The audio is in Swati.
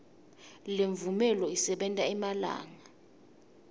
lemvume isebenta emalanga